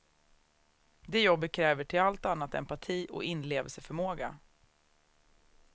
Det jobbet kräver till allt annat empati och inlevelseförmåga.